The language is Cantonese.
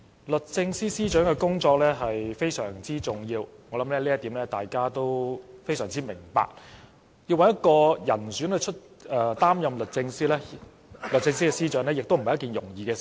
律政司司長的工作非常重要，我想這點大家也非常明白，要找一名人選擔任律政司司長也不是一件容易的事。